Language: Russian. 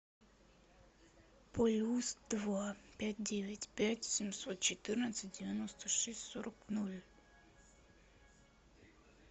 плюс два пять девять пять семьсот четырнадцать девяносто шесть сорок ноль